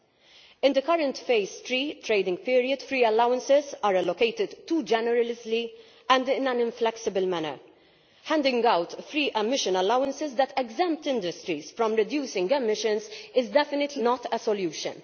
Under the current Phase 3 Trading Period, free allowances are allocated too generously and in an inflexible manner. Handing out free emission allowances that exempt industries from reducing emissions is definitely not a solution.